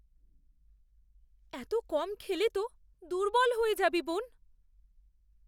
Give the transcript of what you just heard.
এত কম খেলে তো দুর্বল হয়ে যাবি, বোন!